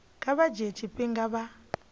kha vha dzhie tshifhinga vha